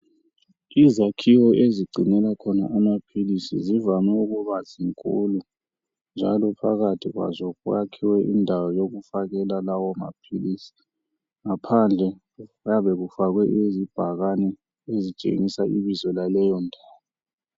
Izakhiwo ezigcinelwa khona amaphilisi zivame ukuba zinkulu njalo phakathi kwazo kwakhiwe indawo yokufakela lawomaphilisi. Ngaphandle kuyabe kufakwe izibhakani ezitshengisa ibizo laleyo ndawo.